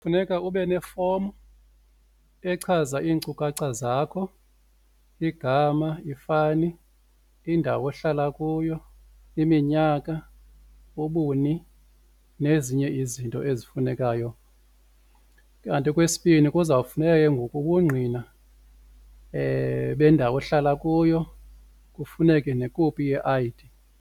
Funeka ube nefomu echaza iinkcukacha zakho igama, ifani, indawo ohlala kuyo, iminyaka, ubuni nezinye izinto ezifunekayo. Kanti okwesibini kuzawufuneka ke ngoku ubungqina bendawo ohlala kuyo kufuneke nekopi ye-I_D.